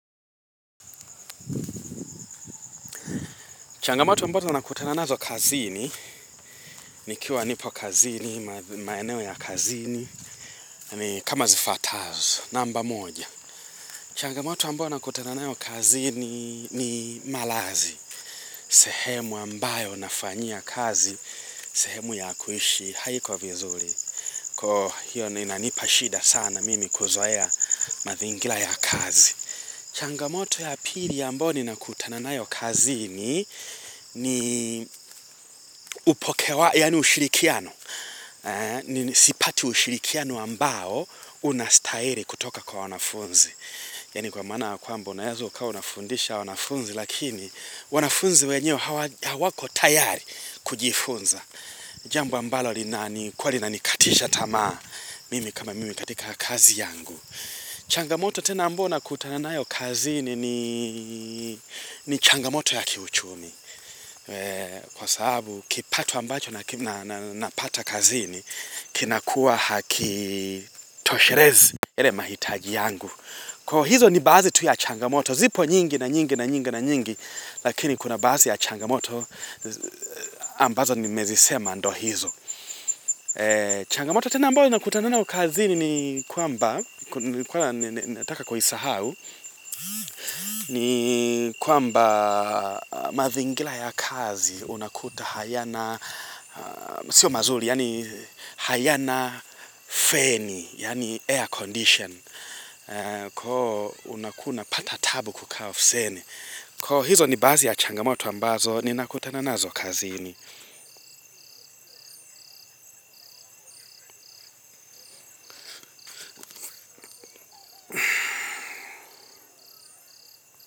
Changamoto ambazo ninakutana nazo kazini, nikiwa nipo kazini, maeneo ya kazini, ni kama zifuatazo, namba moja. Changamoto ambayo ninakutana nayo kazini ni malazi, sehemu ambayo nafanyia kazi, sehemu ya kuishi, haiko vizuri. Kwa hiyo ndo inanipashida sana mimi kuzoea mazingira ya kazi. Changamoto ya pili ambayo ninakutana nayo kazini ni upokewa, yaani ushirikiano, sipati ushirikiano ambao unastahili kutoka kwa wanafunzi. Yaani kwa maana kwamba unaeza ukawa unafundisha wanafunzi lakini wanafunzi wenyewe hawako tayari kujifunza. Jambo ambalo linani kuwa linanikatisha tamaa mimi kama mimi katika kazi yangu. Changamoto tena ambayo nakutana nayo kazini ni changamoto ya kiuchumi Kwa sababu kipato ambacho na napata kazini Kinakuwa hakitoshelezi yale mahitaji yangu Kwa hizo ni baadhi tu ya changamoto zipo nyingi na nyingi na nyingi na nyingi Lakini kuna baadhi ya changamoto ambazo nimezisema ndo hizo Changamoto tena ambayo nakutananayo kazini ni kwamba nilikua nataka kuisahau ni kwamba mazingira ya kazi unakuta hayana sio mazuri, hayana feni, yaqni air condition kwa hio unakuwa unapata tabu kukaa ofisini kwa hizo ni baadhi ya changamoto ambazo ninakutana nazo kazini.